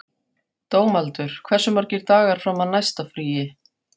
Dómaldur, hversu margir dagar fram að næsta fríi?